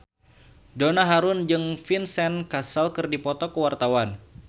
Donna Harun jeung Vincent Cassel keur dipoto ku wartawan